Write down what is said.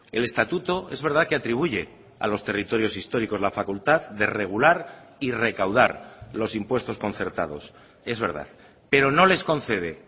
el estatuto es verdad que atribuye a los territorios históricos la facultad de regular y recaudar los impuestos concertados es verdad pero no les concede